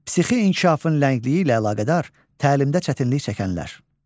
Psixi inkişafın ləngliyi ilə əlaqədar təlimdə çətinlik çəkənlər.